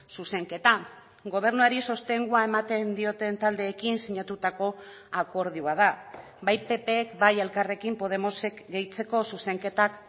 zuzenketa gobernuari sostengua ematen dioten taldeekin sinatutako akordioa da bai ppk bai elkarrekin podemosek gehitzeko zuzenketak